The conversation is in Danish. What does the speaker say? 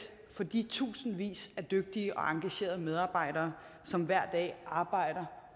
for de tusindvis af dygtige og engagerede medarbejdere som hver dag arbejder